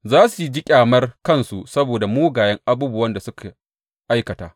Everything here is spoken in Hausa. Za su ji ƙyamar kansu saboda mugayen abubuwan da suka aikata.